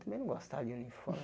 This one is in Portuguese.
Também não gostava de uniforme.